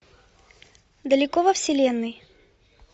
далеко во вселенной